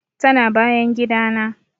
Tana bayan gidana.